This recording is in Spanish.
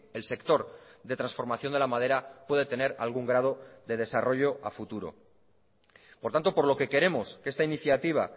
el sector de transformación de la madera puede tener algún grado de desarrollo a futuro por tanto por lo que queremos que esta iniciativa